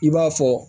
I b'a fɔ